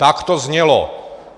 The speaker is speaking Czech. Tak to znělo.